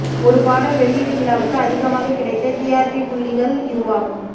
ஒரு பாடல் வெளியீட்டு விழாவுக்கு அதிகமாக கிடைத்த டிஆர்பி புள்ளிகள் இதுவாகும்